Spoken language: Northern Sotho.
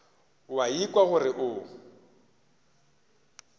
o a ikwa gore o